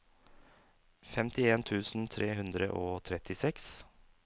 femtien tusen tre hundre og trettiseks